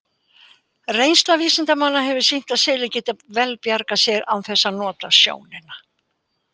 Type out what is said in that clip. Reynsla vísindamanna hefur sýnt að selir geta vel bjargað sér án þess að nota sjónina.